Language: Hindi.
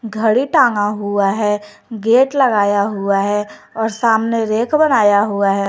घड़ी तागा हुआ है गेट लगाया हुआ है और सामने रैक बनाया हुआ है।